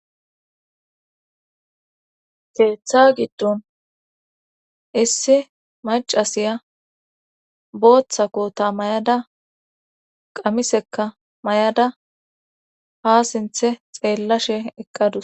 Keeththa giddon issi macasiya booththa koota mayada qamisekka mayada ha sinthe xeellashe eqqadus